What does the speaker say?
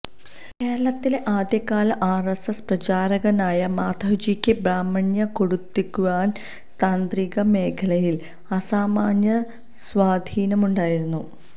കേരളത്തിലെ ആദ്യകാല ആര്എസ്എസ് പ്രചാരകനായ മാധവ്ജിക്ക് ബ്രാഹ്മണ്യം കൊടികുത്തിവാണ താന്ത്രിക മേഖലയില് അസാമാന്യ സ്വാധീനമുണ്ടായിരുന്നു